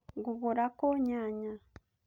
Ngũgũra kũũ nyanya?